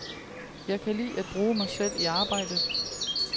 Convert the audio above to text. Jeg kan lide at bruge mig selv i arbejdet.